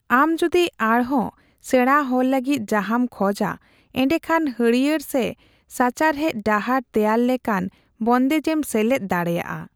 ᱟᱢ ᱡᱩᱫᱤ ᱟᱨᱦᱚᱸ ᱥᱮᱬᱟ ᱦᱚᱲ ᱞᱟᱹᱜᱤᱫ ᱡᱟᱦᱟᱸᱢ ᱠᱷᱚᱡᱟ, ᱮᱸᱰᱮᱠᱷᱟᱱ ᱦᱟᱹᱨᱭᱟᱹᱲ ᱥᱮ ᱥᱟᱪᱟᱨᱦᱮᱫ ᱰᱟᱦᱟᱨ ᱛᱮᱭᱟᱨ ᱞᱮᱠᱟᱱ ᱵᱚᱱᱫᱮᱡᱮᱢ ᱥᱮᱞᱮᱫ ᱫᱟᱲᱮᱭᱟᱜᱼᱟ ᱾